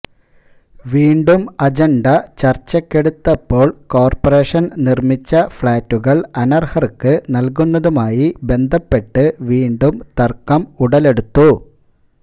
വീണ്ടും അജണ്ട ചർച്ചക്കെടുത്തപ്പോൾ കോർപ്പറേഷൻ നിർമ്മിച്ച ഫ്ളാറ്റുകൾ അനർഹർക്ക് നല്കുന്നതുമായി ബന്ധപ്പെട്ട് വീണ്ടും തർക്കം ഉടലെടു ത്തു